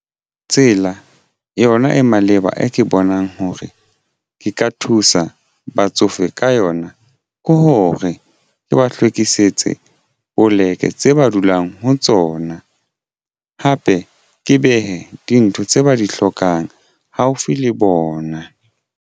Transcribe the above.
Tsela yona e maleba e ke bonang hore ke ka thusa batsofe ka yona ke hore ke ba hlwekisitse poleke tse ba dulang ho tsona hape ke behe dintho tse ba di hlokang haufi le bona.